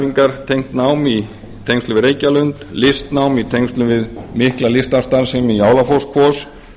endurhæfingartengt nám í tengslum við reykjalund listnám í tengslum við mikla listdansstarfsemi í álafosskvos